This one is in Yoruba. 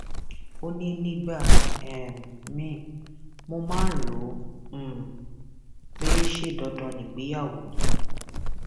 ó ní nígbà um míín mo máa ń rò ó um pé ṣe dandan ni ìgbéyàwó ni